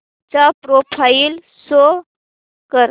चा profile show कर